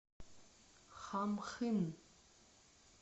хамхын